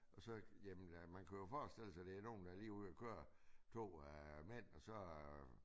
Og så jamen øh man kan jo forstille sig det er lige nogen der er lige ude at køre 2 øh mænd og så øh